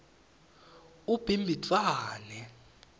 ubhimbidvwane